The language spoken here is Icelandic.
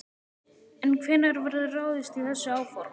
En hvenær verður ráðist í þessi áform?